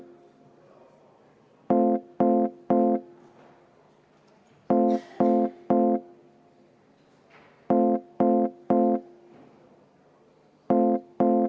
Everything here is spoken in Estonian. Kümme minutit vaheaega.